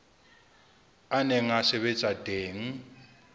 a neng a sebetsa teng